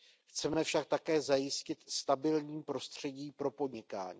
Chceme však také zajistit stabilní prostředí pro podnikání.